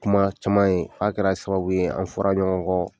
Kuma caman ye fo a kɛra sababu ye an fɔra ɲɔgɔn kɔ.